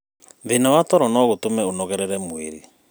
Thĩna wa toro no gũtũme ũnogerere mwĩrĩ